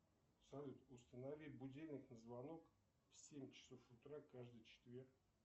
салют установи будильник на звонок в семь часов утра каждый четверг